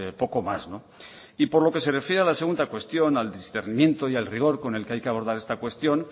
poco más por lo que se refiere a la segunda cuestión al discernimiento y al rigor con el que hay que abordar esta cuestión